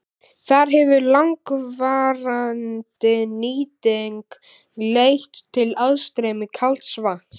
Þar hefur langvarandi nýting leitt til aðstreymis kalds vatns.